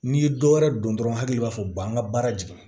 N'i ye dɔ wɛrɛ don dɔrɔn hakili b'a fɔ u b'an ka baara jigin